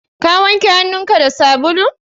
Ka wanke hannun ka da sabulu?